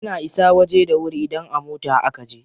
Ana isa waje da wuri idan a mota a kaje.